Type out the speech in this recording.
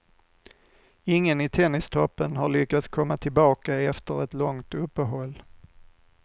Ingen i tennistoppen har lyckats komma tillbaka efter ett långt uppehåll.